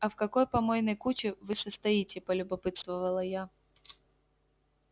а в какой помойной куче вы состоите полюбопытствовала я